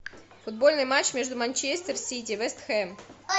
футбольный матч между манчестер сити и вест хэм